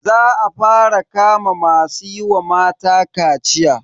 Za a fara kama masu yi wa mata kaciya.